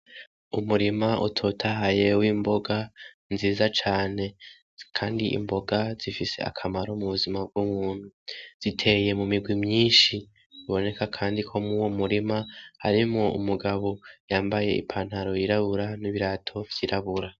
Umurima utotahaye w'imboga nziza cane, Kandi imboga zifise akamaro kanini m'ubuzima bw'umuntu ziteye mumirwi myinshi, biboneka Kandi ko muri uwo murima harimwo Umugabo yambaye ipantaro y'irabura n'ibirato vy'irabura.